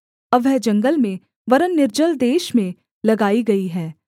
अब वह जंगल में वरन् निर्जल देश में लगाई गई है